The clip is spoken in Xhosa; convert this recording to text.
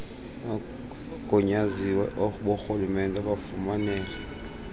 oogunyaziwe borhulumente bafumanele